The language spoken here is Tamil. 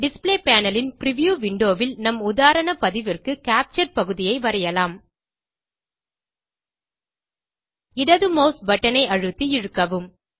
டிஸ்ப்ளே பேனல் ன் பிரிவ்யூ விண்டோ ல் நம் உதாரண பதிவிற்கு கேப்சர் பகுதியை வரையலாம் இடது மாஸ் பட்டன் ஐ அழுத்தி இழுக்கவும்